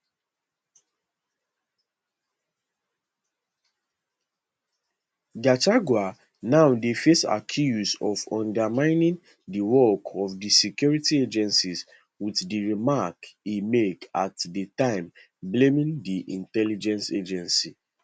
gachagua now dey face accuse of undermining di work of di security agencies with di remarks e make at di time blaming di intelligence agency